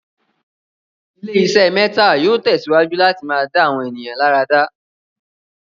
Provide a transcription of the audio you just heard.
ilé iṣé mẹ́tà yóò tẹ̀síwájú láti máa dá àwọn ènìyàn láradá.